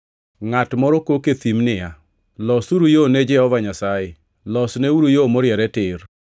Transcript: “Ngʼat moro kok e thim niya, ‘Losuru yo ne Jehova Nyasaye, losneuru yo moriere tir.’ ”+ 1:3 \+xt Isa 40:3\+xt*